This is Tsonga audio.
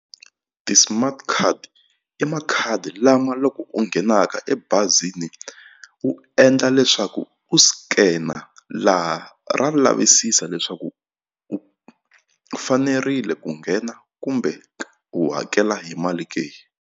Ti-smart card i makhadi lama loko u nghenaka ebazini u endla leswaku u scanner laha ra lavisisa leswaku u fanerile ku nghena kumbe u hakela hi mali ke.